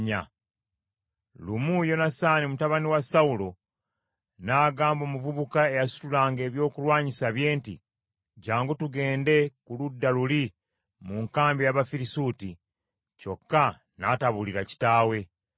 Lumu Yonasaani mutabani wa Sawulo n’agamba omuvubuka eyasitulanga ebyokulwanyisa bye nti, “Jjangu tugende ku ludda luli mu nkambi ey’Abafirisuuti.” Kyokka n’atabuulira kitaawe.